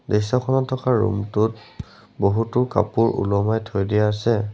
দৃশ্যখনত থকা ৰুমটোত বহুতো কাপোৰ ওলোমাই থৈ দিয়া আছে।